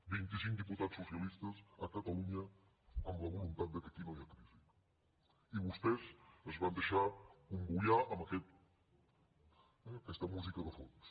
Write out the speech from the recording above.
vint i cinc diputats socialistes a catalunya amb la voluntat que aquí no hi ha crisi i vostès es van deixar acomboiar amb aquesta música de fons